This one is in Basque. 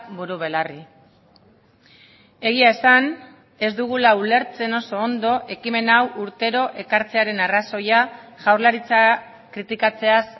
buru belarri egia esan ez dugula ulertzen oso ondo ekimen hau urtero ekartzearen arrazoia jaurlaritza kritikatzeaz